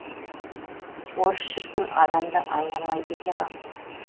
орыс шіркін адамды аямайды екен ау